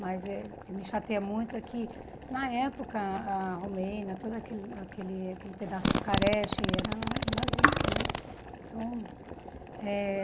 Mas eh o que me chateia muito é que, na época, a Romênia, todo aquele aquele aquele pedaço Bucareste, era nazista né então eh.